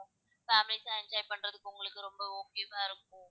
families லாம் enjoy பண்றதுக்கு உங்களுக்கு ரொம்ப okay வா இருக்கும்